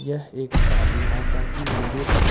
यह एक काली माता की मंदिर है।